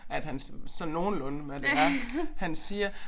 At han sådan nogenlunde hvad det er han siger